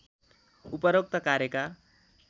उपरोक्त कार्यका